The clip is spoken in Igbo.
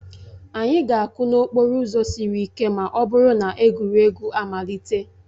Anyị ga-akụ n'okporo ụzọ siri ike ma ọ bụrụ na egwuregwu amalite